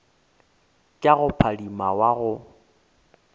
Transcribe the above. tša go phadima wa go